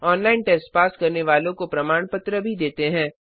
online test pass करने वालों को प्रमाण पत्र भी देते हैं